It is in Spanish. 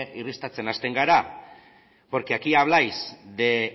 irristatzen hasten gara porque aquí habláis de